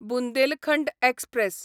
Bundelkhand express